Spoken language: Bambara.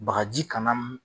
Bagaji kana